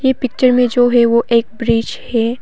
ये पिक्चर में जो है वो एक ब्रिज है।